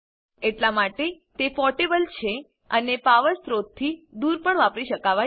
એટલા માટે તે પોર્ટેબલ છે અને પાવર સ્ત્રોતથી દુર પણ વાપરી શકાવાય છે